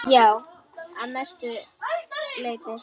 Já, að mestu leyti.